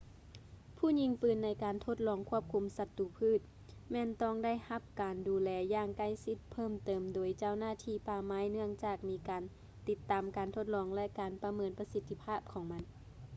ຜູ້ຍິງປືນໃນການທົດລອງຄວບຄຸມສັດຕູພືດ ແມ່ນຕ້ອງໄດ້ຮັບການດູແລຢ່າງໃກ້ຊິດເພີ່ມເຕີມໂດຍເຈົ້າໜ້າທີ່ປ່າໄມ້ ເນື່ອງຈາກມີການຕິດຕາມການທົດລອງ ແລະ ການປະເມີນປະສິດທີພາບຂອງມັນ